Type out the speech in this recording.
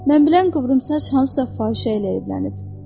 Mən bilən qıvrım saç hansısa fahişə ilə evlənib.